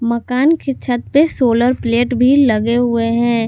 मकान के छत पे सोलर प्लेट भी लगे हुए हैं।